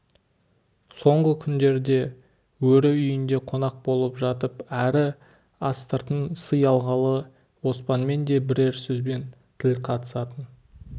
соңғы күндерде өрі үйінде қонақ болып жатып әрі астыртын сый алғалы оспанмен де бірер сөзбен тіл қатысатын